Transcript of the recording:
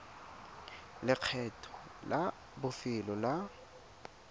le lekgetho la bofelo la